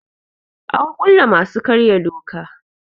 Ana kulle masu karya doka.